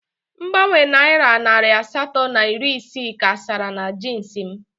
Mgbanwe Naira narị asatọ na iri isii ka sara na jeans m.